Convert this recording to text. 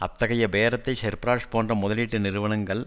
அத்தகைய பேரத்தை செர்பரஸ் போன்ற முதலீட்டு நிறுவனங்கள்